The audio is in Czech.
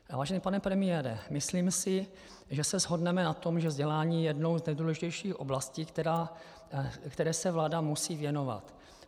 Vážený pane premiére, myslím si, že se shodneme na tom, že vzdělání je jednou z nejdůležitějších oblastí, které se vláda musí věnovat.